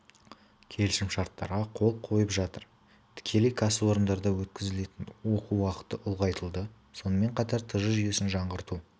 келісімшарттарға қол қойылып жатыр тікелей кәсіпорында өткізілетін оқу уақыты ұлғайтылды сонымен қатар тж жүйесін жаңғырту